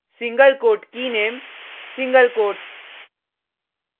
single quote keyname single coat